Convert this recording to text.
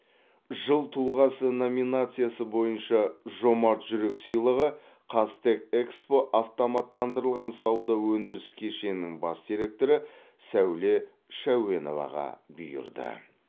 жыл тұлғасы номинациясы бойынша жомарт жүрек сыйлығы қазтехэкспо автоматтандырылған сауда өндіріс кешенінің бас директоры сәуле шәуеноваға бұйырды